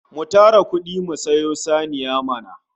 Mu tara kudi mu sayo saniya mana!